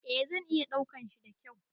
Eh zan iya daukan shi da kyau